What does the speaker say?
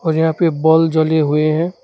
और यहां पे बल जले हुए हैं।